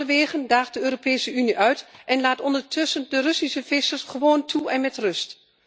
Noorwegen daagt de Europese Unie uit en laat ondertussen de Russische vissers gewoon toe en laat hen met rust.